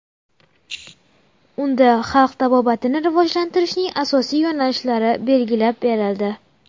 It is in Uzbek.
Unda xalq tabobatini rivojlantirishning asosiy yo‘nalishlari belgilab berildi.